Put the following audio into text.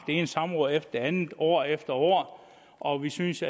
ene samråd efter det andet år efter år og vi synes